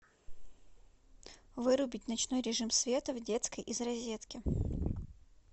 вырубить ночной режим света в детской из розетки